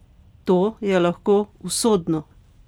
To je lahko usodno!